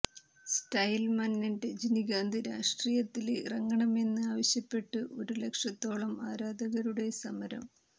style മന്നൻ രജനികാന്ത് രാഷ്ട്രീയത്തില് ഇറങ്ങണമെന്ന് ആവശ്യപ്പെട്ട് ഒരു ലക്ഷത്തോളം ആരാധകരുടെ സമരം